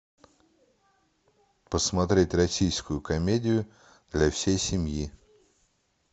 посмотреть российскую комедию для всей семьи